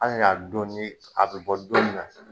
An y'a ka dɔn ni a bi bɔ don min na